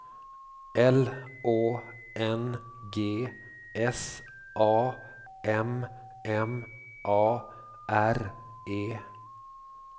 L Å N G S A M M A R E